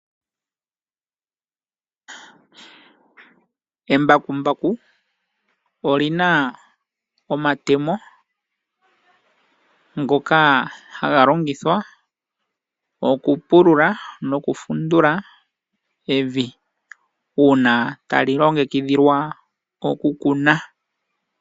Embakumbaku olina omatemo ngoka haga longithwa okupulula noku fundula evi uuna tali longekidhilwa oku ku nwa.